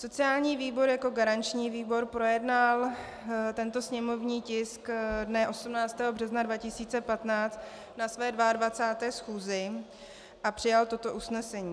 Sociální výbor jako garanční výbor projednal tento sněmovní tisk dne 18. března 2015 na své 22. schůzi a přijal toto usnesení.